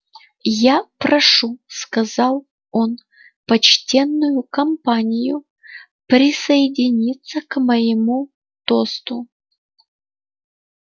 я прошу сказал он почтенную компанию присоединиться к моему тосту